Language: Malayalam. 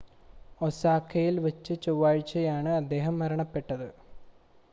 ഒസാക്കയിൽ വച്ച് ചൊവ്വാഴ്ചയാണ് അദ്ദേഹം മരണപ്പെട്ടത്